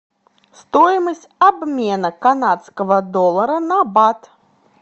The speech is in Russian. стоимость обмена канадского доллара на бат